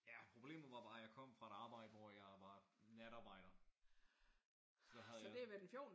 Ja. Problemet var bare at jeg kom fra et arbejde hvor jeg var natarbejder så havde jeg